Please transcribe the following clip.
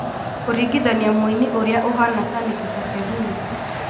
Kũringithania mũini ũrĩa ũhaana ta Nikita kering